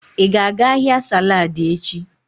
Ị ga-aga ahịa saladi echi?